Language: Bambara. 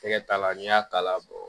Tɛgɛ t'a la n'i y'a k'a la